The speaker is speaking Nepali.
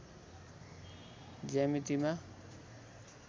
ज्यामितिमा